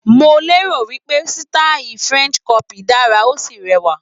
Mo lérò wí pé sítáì french crop dára, ó sì rẹwà.